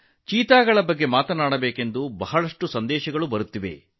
ಚೀತಾಗಳ ಬಗ್ಗೆ ಮಾತನಾಡುವಂತೆ ಸಾಕಷ್ಟು ಸಂದೇಶಗಳು ಬಂದಿವೆ